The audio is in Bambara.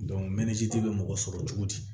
mɛntiri bɛ mɔgɔ sɔrɔ cogo di